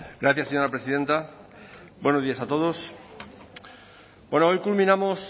gracias señora presidenta buenos días a todos hoy culminamos